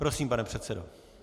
Prosím, pane předsedo.